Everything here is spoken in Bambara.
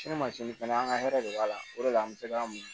Ni masin fɛnɛ an ka hɛrɛ de b'a la o de la an bɛ se ka mun